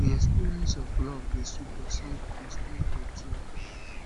um di experience of love dey sweet but sometimes painful too